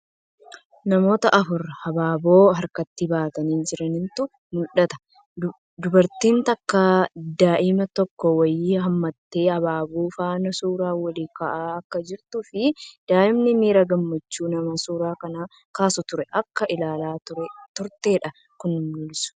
Namoota afur habaaboo harkatti baatanii jirantu mul'ata. Dubartiin takka daa'imma xiqqoo wayii hammattee habaaboo faana suuraa waliin ka'aa akka jirtuu fii daa'imni miira gammachuun nama suuraa san kaasaa ture akka ilaalaa turteedha kan mul'isu.